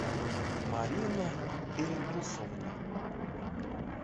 марина ильдусовна